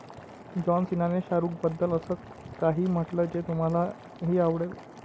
John सीनाने शाहरूखबद्दल असं काही म्हटलं जे तुम्हालाही आवडेल!